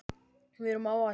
Við erum á áætlun.